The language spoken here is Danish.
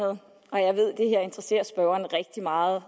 og rigtig meget